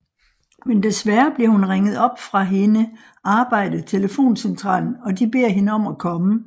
Men desværre bliver hun ringet op fra hende arbejde telefoncentralen og de beder hende om at komme